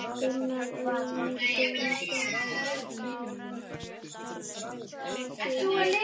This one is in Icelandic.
Gunnar: Engin breyting á því?